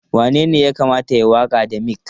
Wanene ya kamata ya yi waƙa da mic?